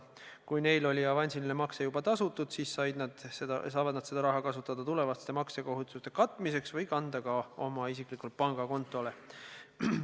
Kui neil oli avansiline makse juba tasutud, siis saavad nad seda raha kasutada tulevaste maksekohustuste katmiseks või kanda selle oma isiklikule pangakontole.